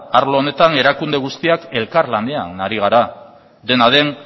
arlo honetan erakunde guztiak elkarlanean ari gara dena den